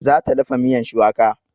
Za ta dafa miyan shuwaka